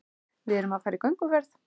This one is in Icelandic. Við erum að fara í gönguferð.